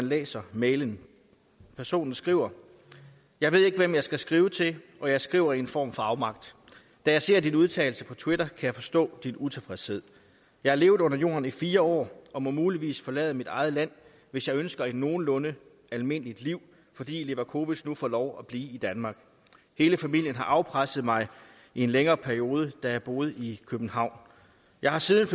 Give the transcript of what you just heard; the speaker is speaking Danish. læser mailen personen skriver jeg ved ikke hvem jeg skal skrive til og jeg skriver i en form for afmagt da jeg ser din udtalelse på twitter kan jeg forstå din utilfredshed jeg har levet under jorden i fire år og må muligvis forlade mit eget land hvis jeg ønsker et nogenlunde almindeligt liv fordi levakovic nu får lov at blive i danmark hele familien har afpresset mig i en længere periode da jeg boede i københavn jeg har siden